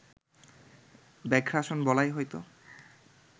ব্যাঘ্রাসন বলাই হয়তো